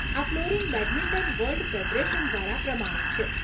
આ flooring badminton world federation દ્વારા પ્રમાણિત છે.